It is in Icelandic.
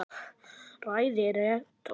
Ræða rektors